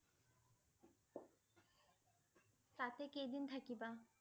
তাতে কেইদিন থাকিবা?